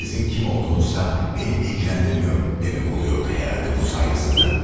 Sizin kim olduğunuzsa məni maraqlandırmır demək olurdu yəqin ki, bu hörmətsizlik?